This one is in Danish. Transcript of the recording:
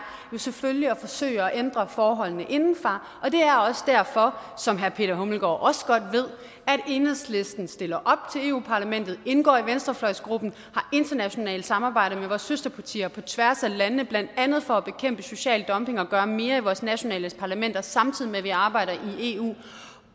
jo selvfølgelig at forsøge at ændre forholdene indefra og det er også derfor som herre peter hummelgaard thomsen også godt ved at enhedslisten stiller op til eu parlamentet indgår i venstrefløjsgruppen har internationalt samarbejde med vores søsterpartier på tværs af landene blandt andet for at bekæmpe social dumping og gøre mere i vores nationale parlamenter samtidig med at vi arbejder i eu